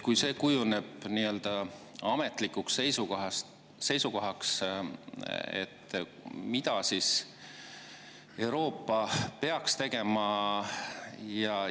Kui see kujuneb nii-öelda ametlikuks seisukohaks, mida siis Euroopa peaks tegema?